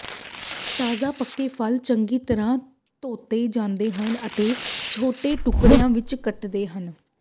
ਤਾਜ਼ਾ ਪੱਕੇ ਫਲ ਚੰਗੀ ਤਰ੍ਹਾਂ ਧੋਤੇ ਜਾਂਦੇ ਹਨ ਅਤੇ ਛੋਟੇ ਟੁਕੜਿਆਂ ਵਿੱਚ ਕੱਟਦੇ ਹਨ